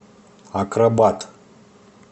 акробат